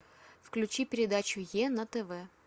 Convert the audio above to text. включи передачу е на тв